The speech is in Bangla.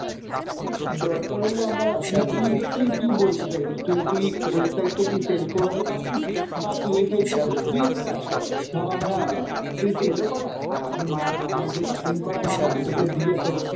দরকার হলে আমরা না তুই তুই কি বলতে চাইছিস? তুই তুই ওই side টা কি sell করাতে পারবি? বা তুই ওই side টাতে তুই একটা কাজ কর, ভাব আমরা তুই sell ও করা আর আমি মা~ আমার যে cutting করা মাল আমি তোকে দিয়ে তোর